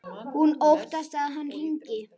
Hún óttast að hann hringi.